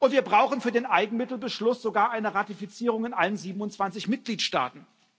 Wir brauchen für den Eigenmittelbeschluss sogar eine Ratifizierung in allen 27 Mitgliedstaaten.